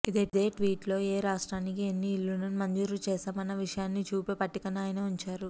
ఇదే ట్వీట్ లో ఏ రాష్ట్రానికి ఎన్ని ఇళ్లను మంజూరు చేశామన్న విషయాన్ని చూపే పట్టికను ఆయన ఉంచారు